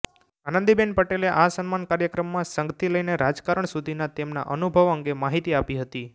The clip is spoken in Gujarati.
આનંદીબેન પટેલે આ સન્માન કાર્યક્રમમાં સંઘથી લઈને રાજકારણ સુધીના તેમના અનુભવ અંગે માહિતી આપી હતી